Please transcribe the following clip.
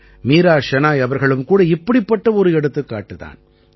மீரா ஷெனாய் அவர்களும் கூட இப்படிப்பட்ட ஒரு எடுத்துக்காட்டுத் தான்